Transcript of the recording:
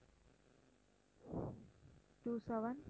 two seven